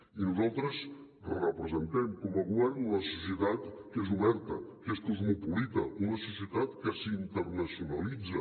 i nosaltres representem com a govern una societat que és oberta que és cosmopolita una societat que s’internacionalitza